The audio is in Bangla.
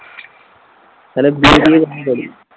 তাহলে বিয়ে টিয়ে কবে করবি?